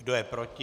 Kdo je proti?